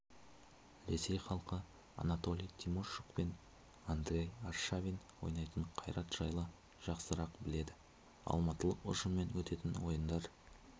ресей халқы анатолий тимощук пен андрей аршавин ойнайтын қайрат жайлы жақсырақ біледі алматылық ұжыммен өтетін ойындар